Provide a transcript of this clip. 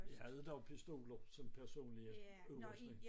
Vi havde dog pistoler som personlige udrustning